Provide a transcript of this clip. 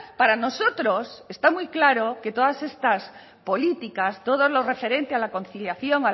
para nosotros está muy claro que todas estas políticas todo lo referente a la conciliación